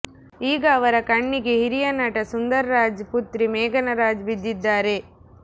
ಈಗ ಅವರ ಕಣ್ಣಿಗೆ ಹಿರಿಯ ನಟ ಸುಂದರ್ ರಾಜ್ ಪುತ್ರಿ ಮೇಘನಾ ರಾಜ್ ಬಿದ್ದಿದ್ದಾರೆ